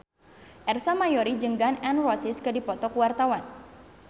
Ersa Mayori jeung Gun N Roses keur dipoto ku wartawan